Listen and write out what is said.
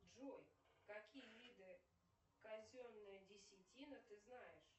джой какие виды казенная десятина ты знаешь